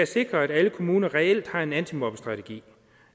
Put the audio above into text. sikret at alle kommuner reelt har en antimobbestrategi